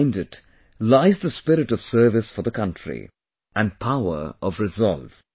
Behind it lies the spirit of service for the country, and power of resolve